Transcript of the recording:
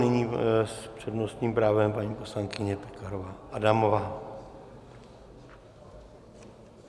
Nyní s přednostním právem paní poslankyně Pekarová Adamová.